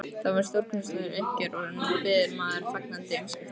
Það var stórkostlegt uppgjör og nú bíður maður fagnandi umskiptanna.